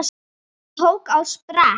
Týri tók á sprett.